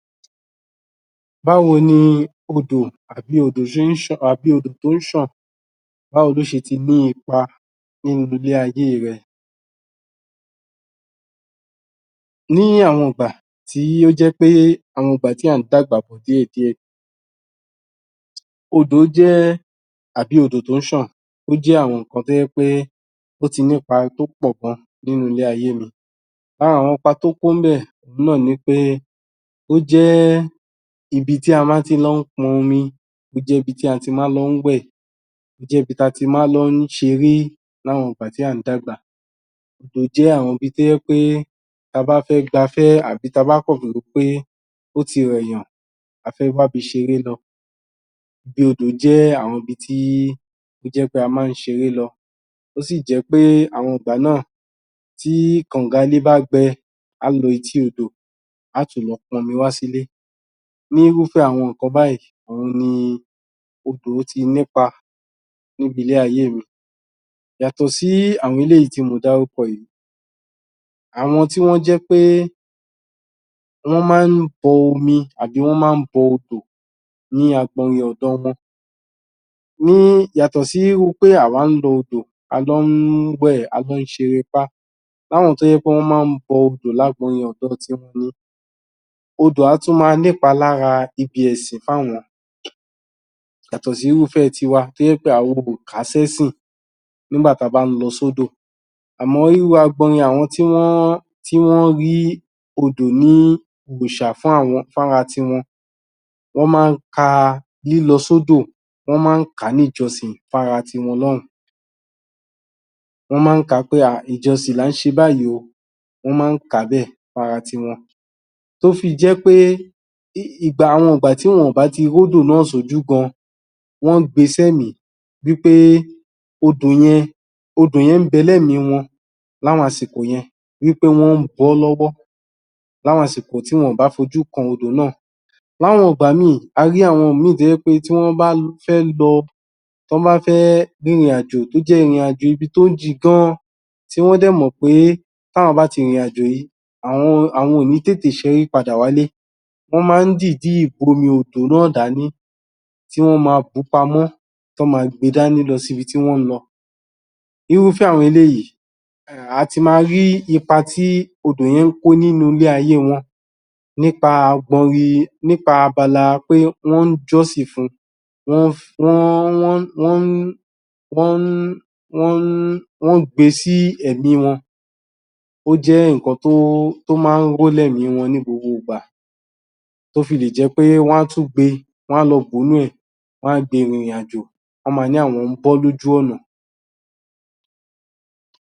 Báwo ni odò àbí odò tó ń ṣàn báwo ni ó ṣe ti ní ipa ní ilé ayé rẹ ní àwọn ìgbà tí ó jẹ́ pé àwọn ìgbà tí à ń dàgbà bọ̀ díẹ̀díẹ̀ Odò jẹ́ àbí odò tó ń ṣàn ó jẹ́ àwọn nǹkan tó jẹ́ pé ó ti ní ipa tó pọ̀ gan nínú ilé ayé mi lára àwọn ipa tó kó níbẹ̀ náà ni wí pé ó jẹ́ ibi tí a máa ti lọ ń pọn omi tó jẹ́ ibi tí a máa lọ ń wẹ̀ ó jẹ́ ibi tí a ti máa ń lọ ṣe eré láwọn ìgbà tí à ń dàgbà ibẹ̀ jẹ́ àwọn ibi tó jẹ́ pé tí a bá fẹ́ gbafẹ́ àbí tí a báh kàn wòóh pé ó ti rẹ̀ èèyàn a fẹ́ wá ibi ṣe eré lọ ibi odò jẹ́ àwọn ibi tí ibi tí ó jẹ́ pé a máa ń ṣe eré lọ ó sì jẹ́ pé àwọn ìgbà náà tí kànga ilé bá gbẹ a ó lọ etí odò a ó tún lọ pọn omi wá sílé ní irúfẹ́ àwọn nǹkan báyìí òun ni ni odò yìí ti ní ipa ní ibi ilé ayé mi yàtọ̀ sí àwọn eléyìí tí mo dárúkọ yiìí àwọn tí wọ́n jẹ́ pé wọ́n máa ń bọ omi àbí wọ́n máa ń bọ odò ní agbọnyin ọ̀dọ wọn yàtọ̀ sí irú pé àwa ń lọ odò a lọ ń wẹ̀, a lọ ń ṣe erépá láwọn tó jẹ́ pé wọ́n máa ń bọ odò ní agbọnyin ọ̀dọ tiwọn odò á tún máa ní ipa lára ibi ẹ̀sìn fún àwọn yàtọ̀ sí irúfẹ́ tiwa tó jẹ́ pé àwa ò kà á sí ẹ̀sìn nígbà tí a bá ń lọ sódò àmọ́ irúh agbọnyin àwọn tí wọ́n rí odò ní òrìṣà fún ara tiwọn Wọ́n máa ń ka lílọ sódò, wọ́n máa ń kà á ní ìjọsìn fún ara tiwọn náà wọ́n máa ń kà á pé aaa ìjọsìn là ń ṣe báyìí o wọ́n máa ń kà á bẹ́ẹ̀ fún ara tiwọn tó fi jẹ́ pé àwọn ìgbà tí wọn ò bá ti rí odò náà sí ojú gan wọ́n ń gbe sí ẹ̀mí wí pé odò yẹn ń bẹ ní ẹ̀mi wọn láwọn àsìkò yẹn wí pé wọ́n ń bọ lọ́wọ́ láwọn àsìkò tih wọn ò bá fojú kan odò náà láwọn ìgbà míì a ri àwọn ìmíì tó jẹ́ pé tí wọ́n bá fẹ́ lọ tí wọ́n bá fẹ́ rin ìrìnàjò tó jẹ́ pé ìrìnàjò ibi tó jìn gan tí wọ́n dẹ̀ mọ̀ pé tí àwọn bá ti rin ìrìnàjò yìí àwọn ò ní tètè ṣẹ́rí padà wálé wọ́n máa ń dìídì bu omí odò náà dání tí wọ́n máa bù ú pamọ́ tí wọ́n máa gbe dání lọ sí ibi tí wọ́n ń lọ irúfẹ́ àwọn eléyìí a ti ma rí ipa tí odò yẹn ń kó nínú ilé ayé wọn nípa abala pé wọ́n ń jọ́sìn fun wọ́n...wọ́n...wọ́n ń gbe sí ẹ̀mi wọn ó jẹ́ nǹkan tí ó máa ń ro ní ẹ̀ẹ̀mì wọn ní gbogbo ìgbà tó fi lè jẹ́ pé wọ́n á tún gbe, wọ́n á lọ bù nínú ẹ̀, wọ́n á gbe rin ìrìnàjò wọ́n máa ní àwọn ń bọ ọ́ lójú ọ̀nà